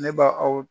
Ne ba aw